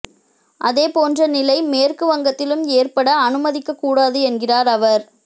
அதேபோன்ற நிலை மேற்கு வங்கத்திலும் ஏற்பட அனுமதிக்கக் கூடாது என்கிறார் அவர்